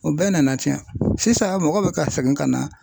O bɛɛ nana tiɲɛ sisan mɔgɔ bɛ ka segin ka na